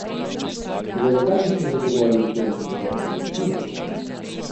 Toda zakaj bi se zadovoljili zgolj z vodno gladino?